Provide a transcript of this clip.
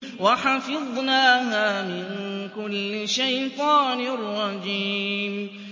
وَحَفِظْنَاهَا مِن كُلِّ شَيْطَانٍ رَّجِيمٍ